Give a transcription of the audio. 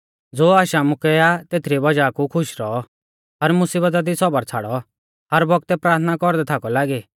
ज़ो आश आमुकै आ तेथरी वज़ाह कु खुश रौऔ हर मुसीबता दी सौबर छ़ाड़ौ हर बौगतै प्राथना कौरदै थाकौ लागी